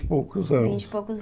e poucos anos Vinte e poucos anos.